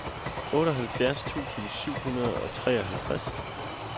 otteoghalvfjerds tusind syv hundrede og treoghalvtreds